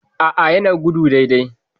A'a yana gudu dai dai